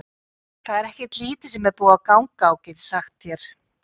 Það er ekkert lítið sem er búið að ganga á, get ég sagt þér.